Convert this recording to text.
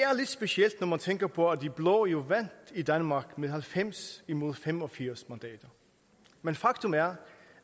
specielt når man tænker på at de blå jo vandt i danmark med halvfems imod fem og firs mandater men faktum er